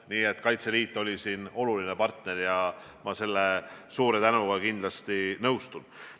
Nii et Kaitseliit oli siin oluline partner ja ma sellega suure tänutundega kindlasti nõustun.